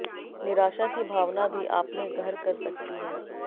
निराशा की भावना भी आपमें घर कर सकती है